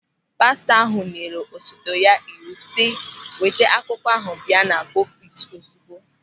Pastọ ahụ nyere osote ya iwu si, "Weta akwụkwọ ahụ bịa na pupiti ozigbo!"